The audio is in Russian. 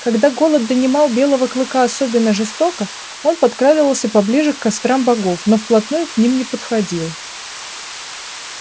когда голод донимал белого клыка особенно жестоко он подкрадывался поближе к кострам богов но вплотную к ним не подходил